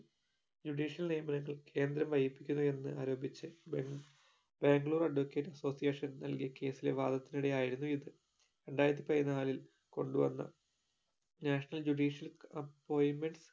judicial നിയമനങ്ങൾ കേന്ദ്രം വൈകിപ്പിച്ചത് എന്ന് ആരോപിച്ച് ബാംഗ് ബാംഗ്ലൂർ advocate association നൽകിയ case ലെ വാദത്തിനിടെ ആയിരുന്നു ഇത് രണ്ടായിരത്തി പതിനാലിൽ കൊണ്ട് വന്ന national judicial appoinment